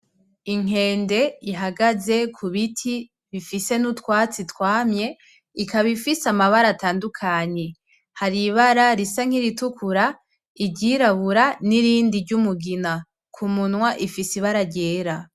Inkende ihagaze ku biti bifise n'utwatsi twamye, ikaba ifise amabara atandukanye. Hari ibara risa nk'iritukura, iryirabura, n'irindi ry'umugina. Ku munwa ifise ibara ryera.